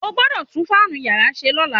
O gbọ́dọ̀ tún fáànù yàrá ṣe lọ́la.